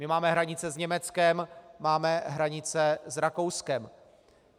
My máme hranice s Německem, máme hranice s Rakouskem.